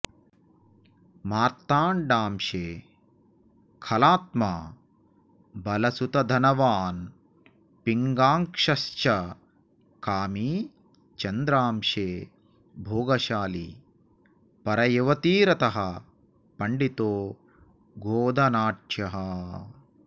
मार्तण्डांशे खलात्मा बलसुतधनवान् पिङ्गाक्षश्च कामी चन्द्रांशे भोगशाली परयुवतिरतः पण्डितो गोधनाढ्यः